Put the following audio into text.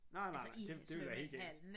Nej nej nej det ville være helt galt